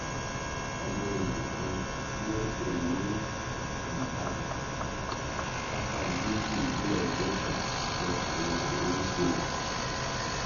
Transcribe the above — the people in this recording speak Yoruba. ọmọ ìlú kan tí wọn ń pè ní ika lápá gúúsù ìpínlẹ delta lọkùnrin ọhún ń ṣe